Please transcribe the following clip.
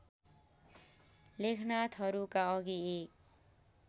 लेखनाथहरूका अघि एक